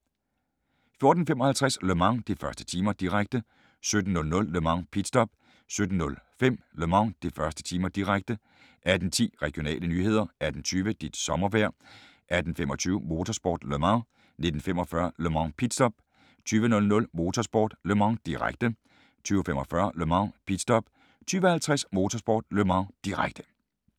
14:55: Le Mans: De første timer, direkte 17:00: Le Mans: Pit stop 17:05: Le Mans: De første timer, direkte 18:10: Regionale nyheder 18:20: Dit sommervejr 18:25: Motorsport: Le Mans 19:45: Le Mans: Pit stop 20:00: Motorsport: Le Mans, direkte 20:45: Le Mans: Pit stop 20:50: Motorsport: Le Mans, direkte